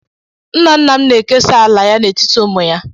Nna nna m na-ekesa ala ya n'etiti ụmụ ya.